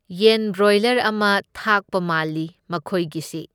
ꯌꯦꯟ ꯕ꯭ꯔꯣꯏꯂꯔ ꯑꯃ ꯊꯥꯛꯄ ꯃꯥꯜꯂꯤ ꯃꯈꯣꯢꯒꯤꯁꯤ꯫